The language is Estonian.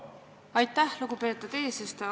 Aitäh, lugupeetud eesistuja!